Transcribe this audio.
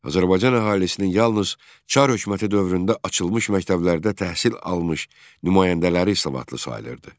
Azərbaycan əhalisinin yalnız Çar hökuməti dövründə açılmış məktəblərdə təhsil almış nümayəndələri savadlı sayılırdı.